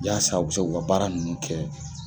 I yasa u bɛ se ku ka baara nunnu kɛ.